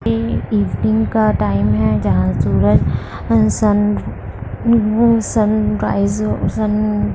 ये इवनिंग का टाइम हैं जहां सूरज सन सन राइज और सन --